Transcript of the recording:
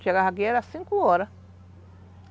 Chegava aqui era cinco horas.